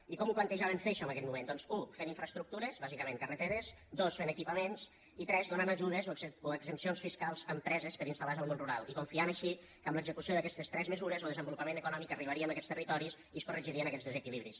i com ho plantejaven fer això en aquell moment doncs u fent infraestructures bàsicament carreteres dos fent equipaments i tres donant ajudes o exempcions fiscals a empreses per instal·lar se al món rural i confiant així que amb l’execució d’aquestes tres mesures lo desenvolupament econòmic arribaria a aquests territoris i es corregirien aquests desequilibris